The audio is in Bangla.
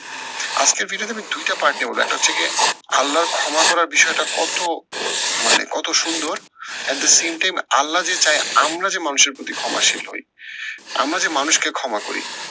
আজকের টা আমি দুইটা part নিয়ে বলবো একটা হচ্ছে গিয়ে আল্লার ক্ষমা করার বিষয়টা কত মানে কত সুন্দর at the same time Allah যে চায় আমরা যে মানুষের প্রতি ক্ষমাশীল হই। আমরা যে মানুষকে ক্ষমা করি।